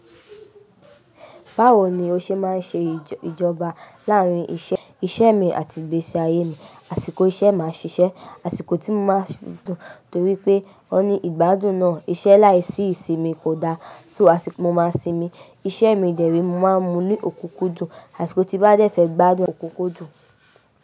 Báwo ni o ṣe máa ń ṣe ìjọba láàárín iṣẹ́ mi àti ìgbésí ayé mi? Àṣìkò iṣẹ́ máa ṣiṣẹ́, àṣìkò tí mo máa torí pé wọ́n ní ìgbádùn náà. Iṣẹ́ láìsí ìsinmi kò da. So àṣìkò mo máa sinmi, iṣẹ́ mi dẹ̀ ré, mo máa ń mú ní òkúkú dùn. Àṣìkò tí n bá dẹ́ fẹ̀ gbádùn òkúkú dùn.